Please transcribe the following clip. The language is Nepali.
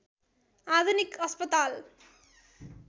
आधुनिक अस्पताल